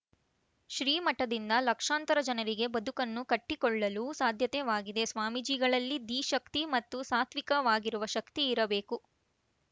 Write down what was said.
ಶ್ರೀ ಮಠದಿಂದ ಲಕ್ಷಾಂತರ ಜನರಿಗೆ ಬದುಕನ್ನು ಕಟ್ಟಿಕೊಳ್ಳಲು ಸಾಧ್ಯತೆವಾಗಿದೆ ಸ್ವಾಮೀಜಿಗಳಲ್ಲಿ ಧೀಶಕ್ತಿ ಮತ್ತು ಸಾತ್ವಿಕವಾಗಿರುವ ಶಕ್ತಿ ಇರಬೇಕು